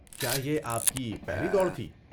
کیا یہ آپ کی پہلی دوڑ تھی؟